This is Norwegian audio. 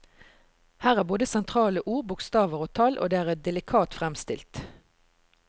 Her er både sentrale ord, bokstaver og tall, og det er delikat fremstilt.